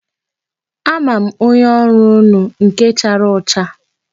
A ma m onye ọrụ unu, nke chara ọcha.